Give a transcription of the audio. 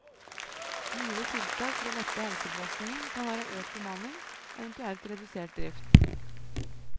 Mulige tiltak for å lette helsebelastningene kan være økt bemanning, eventuelt redusert drift.